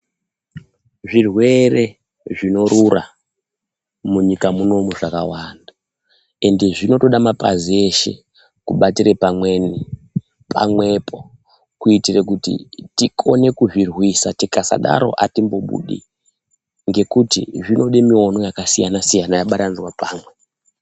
Zvirwere zvinorura munyika munomu, zvakawanda zvinoda mapazi eshe kubatire pamwepo kuitira kuti tikone kuzvirwisa, tikasadaro hatimbobudi ngekuti zvinode muono yakasiyana siyana yabatanidzwe pamwe.